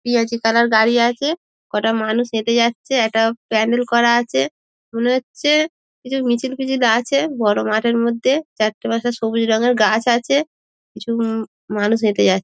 পেঁয়াজি কালার গাড়ি আছে কোটা মানুষ হেটে যাচ্ছে একটি প্যান্ডেল করা আছে মনে হচ্ছে কিছু মিছিল ফিছিল আছে বড় মাঠের মধ্যে চারটে পাঁচটা সবুজ রঙের গাছ আছে কিছু মম মানুষ হেটে যাচ্ছে।